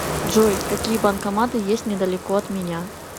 джой какие банкоматы есть недалеко от меня